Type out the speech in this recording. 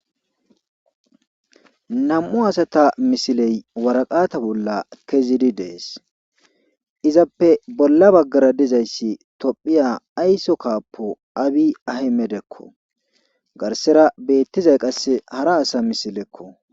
Nam'u asata misile waraqata bola kezidi dees izappe bolla bagara dizayssi tophiya aysso kappppo aabi aymedekko garssara betizay qasse Hara asa misilekko